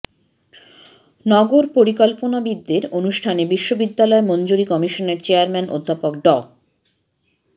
নগর পরিকল্পনাবিদদের অনুষ্ঠানে বিশ্ববিদ্যালয় মঞ্জুরি কমিশনের চেয়ারম্যান অধ্যাপক ড